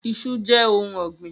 Iṣu jẹ ohun ọgbin.